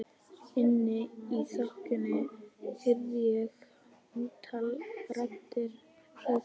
Inni í þokunni heyri ég ótal raddir hrópa á mig.